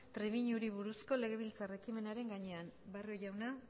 trebiñuri buruzko legebiltzar ekimenaren gainean barrio jauna